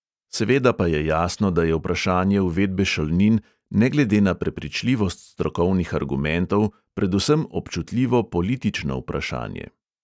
Seveda pa je jasno, da je vprašanje uvedbe šolnin ne glede na prepričljivost strokovnih argumentov predvsem občutljivo politično vprašanje.